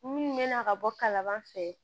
Minnu bɛ na ka bɔ kalaban fɛ